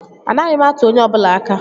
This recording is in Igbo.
Anaghị m atụ onye ọ bụla aka